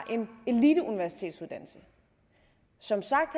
en eliteuniversitetsuddannelse som sagt